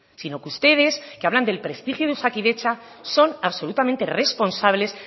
sino que ustedes que hablan del prestigio de osakidetza son absolutamente responsables